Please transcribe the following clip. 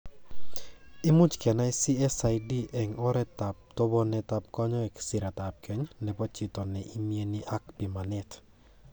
Imuch kenai CSID eng' oretab tobenetab kanyoik ,siretab keny nebo chito ne imiani ak pimanet.